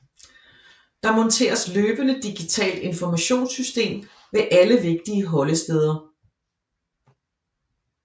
Der monteres løbende digitalt informationssystem ved alle vigtige holdesteder